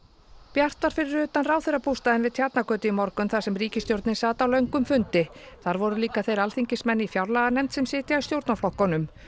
bjart var fyrir utan ráðherrabústaðinn við Tjarnargötu í morgun þar sem ríkisstjórnin sat á löngum fundi þar voru líka þeir alþingismenn í fjárlaganefnd sem sitja í stjórnarflokkunum